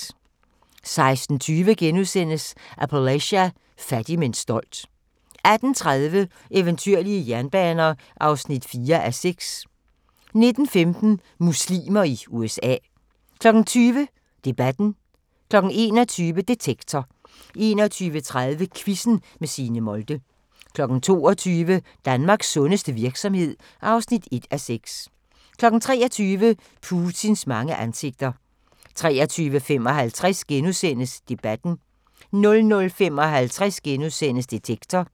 16:20: Appalachia – fattig men stolt * 18:30: Eventyrlige jernbaner (4:6) 19:15: Muslimer i USA 20:00: Debatten 21:00: Detektor 21:30: Quizzen med Signe Molde 22:00: Danmarks sundeste virksomhed (1:6) 23:00: Putins mange ansigter 23:55: Debatten * 00:55: Detektor *